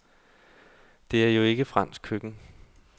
Det er jo ikke fransk køkken.